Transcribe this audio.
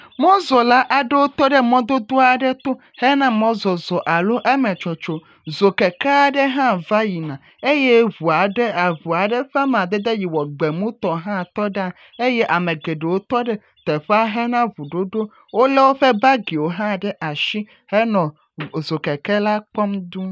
Mɔzɔla aɖewo tɔɖe mɔdodo aɖe to hena mɔzɔzɔ alo eme tsotso dzokeke aɖe ha va yina eye ʋu aɖe ƒe amadede yi wɔ gbemu tɔ gbi ha tɔɖe anyi eye ame geɖewo tɔɖe teƒea hena ʋuɖoɖo wolé woƒƒe bagiwo ha ɖe asi henɔ dzokeke la kpɔm duu